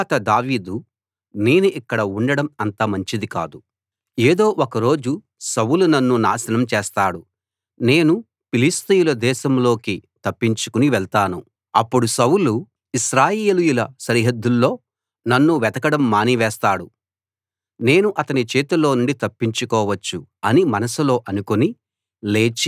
తరువాత దావీదు నేను ఇక్కడ ఉండడం అంత మంచిది కాదు ఏదో ఒకరోజు సౌలు నన్ను నాశనం చేస్తాడు నేను ఫిలిష్తీయుల దేశంలోకి తప్పించుకుని వెళ్తాను అప్పుడు సౌలు ఇశ్రాయేలీయుల సరిహద్దుల్లో నన్ను వెతకడం మానివేస్తాడు నేను అతని చేతిలోనుండి తప్పించుకోవచ్చు అని మనసులో అనుకుని